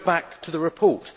Go back to the report.